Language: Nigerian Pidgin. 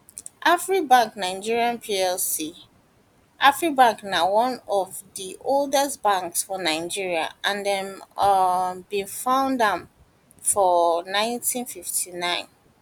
afribank nigeria plc afribank na one of di oldest banks for nigeria and dem um bin found am for 1959